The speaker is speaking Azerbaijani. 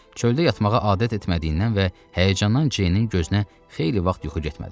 Çöldə yatmağa adət etmədiyindən və həyəcandan Ceynin gözünə xeyli vaxt yuxu getmədi.